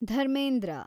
Dharmendra